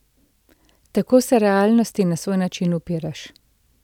Tako se realnosti na svoj način upiraš.